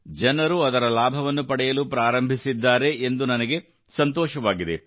ಜನರು ಅದರ ಲಾಭವನ್ನು ಪಡೆಯಲು ಪ್ರಾರಂಭಿಸಿದ್ದಾರೆ ಎಂದು ನನಗೆ ಸಂತೋಷವಾಗಿದೆ